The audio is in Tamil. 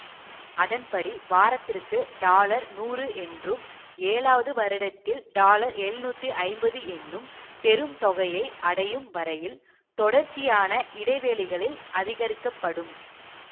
அதன்படி வாரத்திற்கு டாலர் நூறு என்றும் ஏழாவது வருடத்தில் டாலர் எழுநூத்தி ஐம்பது என்னும் பெரும் தொகையை அடையும் வரையில் தொடர்ச்சியான இடைவெளிகளில் அதிகரிப்படும்